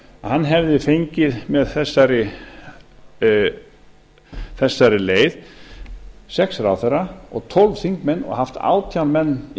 hann hefði fengið með þessari leið sex ráðherra og tólf þingmenn og haft átján menn í